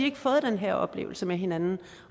ikke fået den her oplevelse med hinanden og